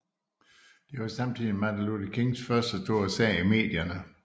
Den var samtidig Martin Luther Kings første store sag i medierne